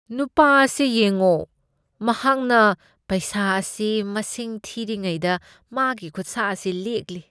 ꯅꯨꯄꯥ ꯑꯁꯦ ꯌꯦꯡꯉꯣ꯫ ꯃꯍꯥꯛꯅ ꯄꯩꯁꯥ ꯑꯁꯤ ꯃꯁꯤꯡ ꯊꯤꯔꯤꯉꯩꯗ ꯃꯥꯒꯤ ꯈꯨꯠꯁꯥ ꯑꯁꯤ ꯂꯦꯛꯂꯤ꯫